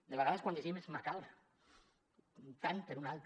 de vegades quan llegim és macabra tant per una alta